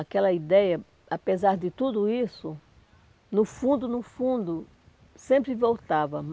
Aquela ideia, apesar de tudo isso, no fundo, no fundo, sempre voltava.